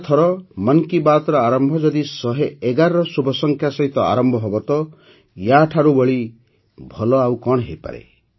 ଆରଥର ମନ୍ କି ବାତ୍ର ଆରମ୍ଭ ଯଦି ୧୧୧ର ଶୁଭସଂଖ୍ୟା ସହିତ ଆରମ୍ଭ ହେବ ତ ୟାଠାରୁ ଭଲ ଆଉ କଣ ହୋଇପାରେ